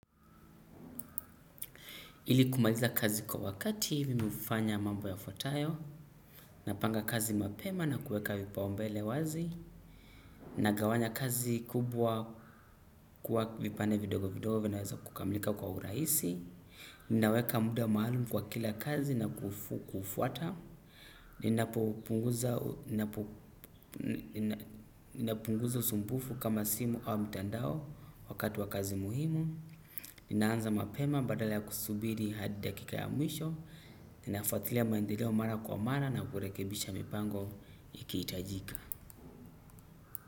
Ili kumaliza kazi kwa wakati, mimi hufanya mambo yafuatayo, napanga kazi mapema na kueka vipaombele wazi, nagawanya kazi kubwa kwa vipande vidogo vidogo vinaweza kukamlika kwa uraisi, ninaweka muda maalumu kwa kila kazi na kufuata ninapo ninapunguza usumbufu kama simu au mtandao wakati wa kazi muhimu. Ninaanza mapema badala kusubiri hadi dakika ya mwisho. Ninafwatilia maendeleo mara kwa mara na kurekebisha mipango ikihitajika.